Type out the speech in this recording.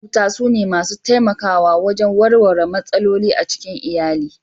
Maƙwabta sune masu taimakawa wajen warware matsaloli a cikin iyali.